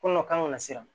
Ko nɔ kan ka na siran